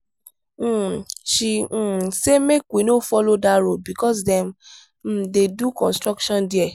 um she um say make we no follow dat road because dem um dey do construction there.